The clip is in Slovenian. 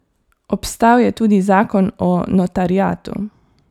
Obstal je tudi zakon o notariatu.